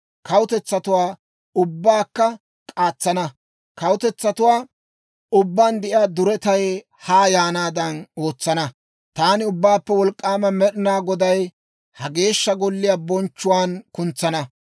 Kawutetsatuwaa ubbaakka k'aatsana; kawutetsatuwaa ubbaan de'iyaa duretay haa yaanaadan ootsana. Taani Ubbaappe Wolk'k'aama Med'inaa Goday ha Geeshsha Golliyaa bonchchuwaan kuntsana.